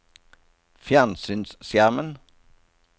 fjernsynsskjermen